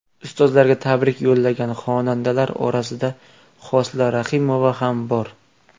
Ustozlarga tabrik yo‘llagan xonandalar orasida Hosila Rahimova ham bor.